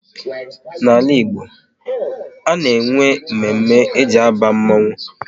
N'ala Igbo, a na-enwe mme mme e ji aba mmanwu